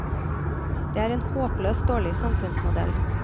Det er en håpløst dårlig samfunnsmodell.